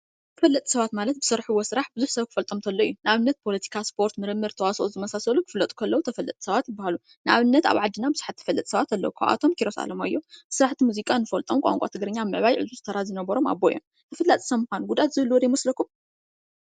ተፈለጥቲ ሰባት ማለት ብዝሰርሕዎ ስራሕ ብዙሕ ሰብ ክፈልጦም እንተሎ እዩ። ንኣብነት ብፖለቲካ፣ ስፖርት፣ ምርምር፣ ተዋሳኦ ዝመሳሰሉ ክፍለጡ ከለው ተፈለጥቲ ሰባት ይበሃሉ። ንኣብነት ኣብ ዓድና ብዙሓት ተፈልጥቲ ሰባት ኣለው። ካብኣቶም ኪሮስ ኣለማዮ እዩ ።ብስራሕቲ ሙዚቃ ንፈልጦም ቋንቋ ትግርኛ ኣብ ምእዕባይ ዕዙዝ ተራ ዝነበሮም ኣቦ እዮም። ተፈላጢ ሰብ ምኻን ጉድኣት ዘለዎ ዶ ይመስለኩም?